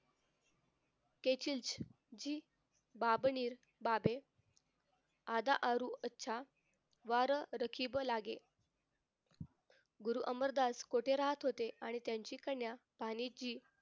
केचनजी भाभनीर भाबेर आद्य अरुणच्या द्वार राखीब लागे गुरु अमरदास कोठे राहत होते आणि त्यांची कन्या भानिजी